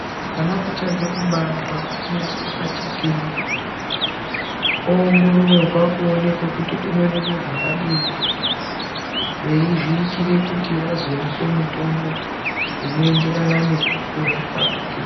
Mwana uchabva kubarwa, unoyiswa pachikero, owongororwa kuonekwa kuti unorema zvakadini, veyi zviyitire kuti vazomupe mutombo unoenderana nekukura kwake.